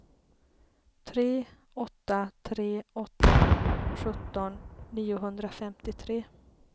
tre åtta tre åtta sjutton niohundrafemtiotre